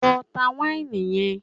Lọ ta wáìnì yẹn!